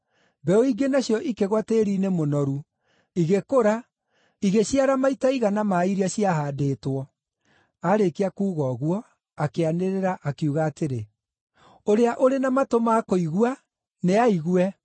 Mbeũ ingĩ nacio ikĩgũa tĩĩri-inĩ mũnoru. Igĩkũra, igĩciara maita igana ma iria ciahaandĩtwo. Aarĩkia kuuga ũguo, akĩanĩrĩra, akiuga atĩrĩ, “Ũrĩa ũrĩ na matũ ma kũigua, nĩaigue.”